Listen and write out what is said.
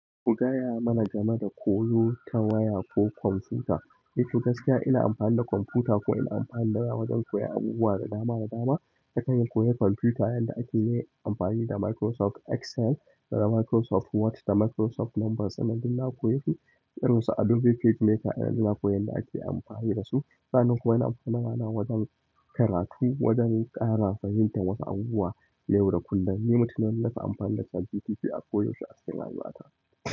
Ku gaya mana game da koyo ta waya ko kwamfuta. Eh toh gaskiya ina amfani da kwamfuta ko ina amfani da waya wajen koyan abubuwa da dama da dama. Dakani koyar kwamfuta yanda ake yin amfani da Microsoft Excel da Microsoft Word da Microsoft Numbers ɗinnan duk na koyesu. Irin su Adobe PageMaker ɗinnan na koyi yanda ake amfani da su. Sa'anan kuma na amfana mana wajen karatu, wajen ƙara fahimtar wasu abubuwa. Yau da kullum, ni mutumin ne wanda nafi amfani da CHATGPT a ko yaushe a cikin rayuwata.